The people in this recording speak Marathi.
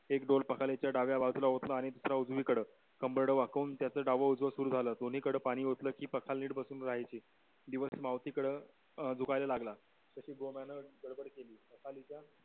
एक डोल पाखालीचा डाव्या बाजूला आणि दूसरा उजवी कड कंबर्ड वकवून त्याच डाव उजव सुरू झालं दोन्ही कड पानी ओतल की पाखाल नीट बसून राहायचे दिवस मावती कड अं झुकायला लागला तशी गोंम्यान गडबड केली